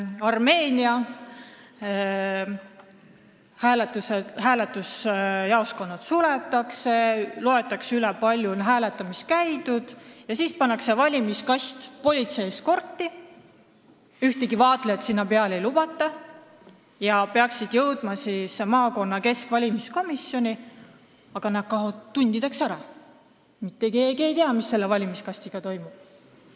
Armeenias on nii, et kui valimisjaoskonnad on suletud ja on üle loetud, kui palju hääletamas käidi, siis saadetakse valimiskastid politseieskordiga ära, ühtegi vaatlejat sinna juurde ei lubata ja need kastid peaksid jõudma maakonna keskvalimiskomisjoni, aga nad kaovad tundideks ära ning mitte keegi ei tea, mis nendega toimub.